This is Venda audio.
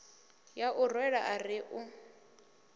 ya u rwela ari u